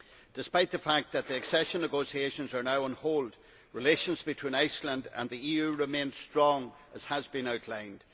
Despite the fact that the accession negotiations are now on hold, relations between Iceland and the EU remain strong, as has been outlined.